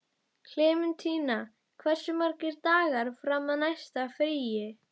Klementína, hversu margir dagar fram að næsta fríi?